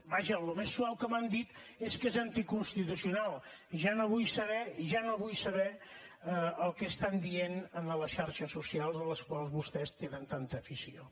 vaja el més suau que m’han dit és que és anticonstitucional ja no vull saber ja no vull saber el que estan dient en les xarxes socials a les quals vostès tenen tanta afició